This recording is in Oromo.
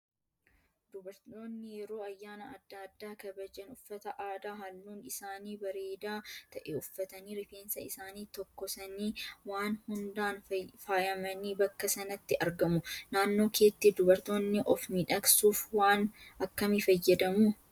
Dubartoonni yeroo ayyaana adda addaa kabajan uffata aadaa halluun isaanii bareedaa ta'e uffatanii rifeensa isaanii tokkosanii waan hundaan faayamanii bakka sanatti argamu. Naannoo keetti dubartoonni of miidhagsuuf waan akkamii fayyadamu?